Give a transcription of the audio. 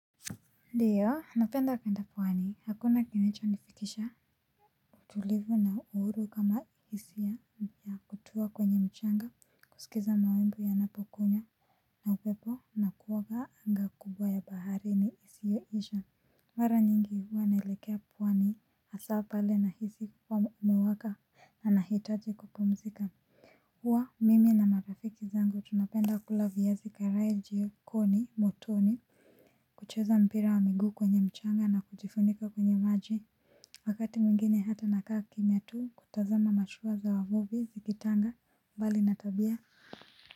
Ndiyo napenda kuenda pwani hakuna kinachonifikisha utulivu na uhuru kama hisia ya kutua kwenye mchanga kusikiza mawimbi ya napokunya na upepo na kuoga anga kubwa ya baharini isiyoisha mara nyingi huwa naelekea pwani hasaa pale nahisi kuwa umewaka na nahitaji kupumzika huwa mimi na marafiki zangu tunapenda kula viazi karai jikoni motoni. Kucheza mpira wa miguu kwenye mchanga na kujifunika kwenye maji. Wakati mwingine hata nakaa kimya tu kutazama mashua za wavuvi zikitanga. Mbali na tabia.